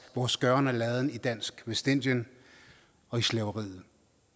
vores gøren og laden i dansk vestindien og i slaveriet